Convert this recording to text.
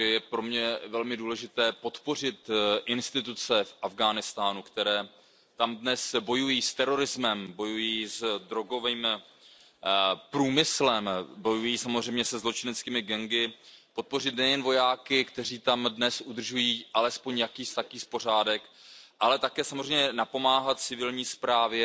Takže je pro mě velmi důležité podpořit instituce v Afghánistánu, které tam dnes bojují s terorismem, s drogovým průmyslem, samozřejmě se zločineckými gangy, podpořit nejen vojáky, kteří tam dnes udržují alespoň jakýsi pořádek, ale také samozřejmě napomáhat civilní správě